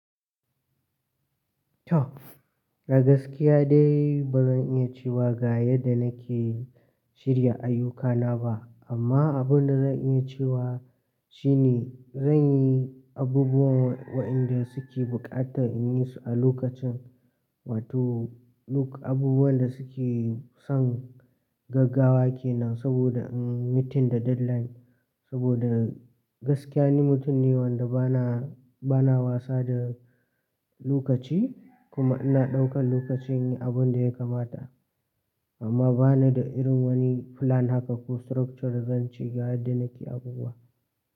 To a gaskiya dai ba zan iya cewa ga yadda na ke shirya ayyukana ba amma abin da zan iya cewa shine zan yi abubuwan wa'inda suke bukata in yi su a lokacin wato abubuwan da suke son gaggawa kenan saboda in mutum da deadline saboda gaskiya ni mutum ne wanda bana bana wasa da lokaci kuma ina ɗaukan lokaci in yi abun da ya kamata amma bani da irin wani plan haka ko structure zan ci ga yadda na ke abubuwa.